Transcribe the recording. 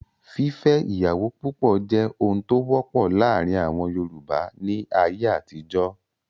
Fífẹ́ ìyàwó púpọ̀ jẹ́ ohun tó wọ́pọ̀ láàrin àwọn Yorùbá ní ayé àtijọ́.